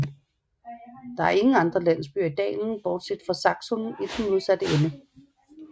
Det er ingen andre landsbyer i dalen bortset fra Saksun i den modsatte ende